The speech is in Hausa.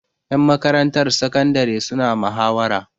Ƴan makarantar sakandare suna mahawara.